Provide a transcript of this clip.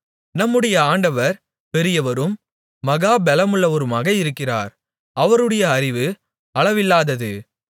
நம்முடைய ஆண்டவர் பெரியவரும் மகா பெலமுள்ளவருமாக இருக்கிறார் அவருடைய அறிவு அளவில்லாதது